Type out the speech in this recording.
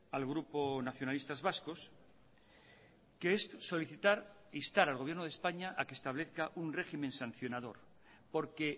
al grupo nacionalistas vascos que es solicitar instar al gobierno de españa a que establezca un régimen sancionador porque